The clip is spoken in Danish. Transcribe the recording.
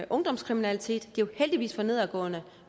ungdomskriminalitet den jo heldigvis for nedadgående